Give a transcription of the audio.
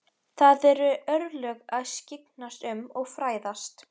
Það eru hans örlög að skyggnast um og fræðast.